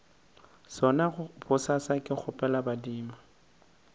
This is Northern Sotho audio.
sona bosasa ke kgopela badimo